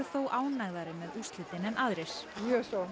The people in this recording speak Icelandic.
ánægðari með úrslitin en aðrir mjög svo